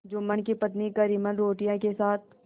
जुम्मन की पत्नी करीमन रोटियों के साथ